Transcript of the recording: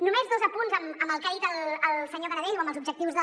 només dos apunts en el que ha dit el senyor canadell o en els objectius de